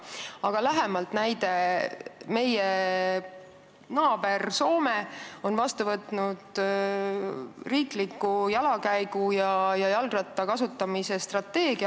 Aga näide lähemalt: meie naaber Soome on vastu võtnud jala käimise ja jalgratta kasutamise riikliku strateegia.